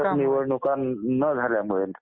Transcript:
पारदर्शक निवडणुका न झाल्यामुळे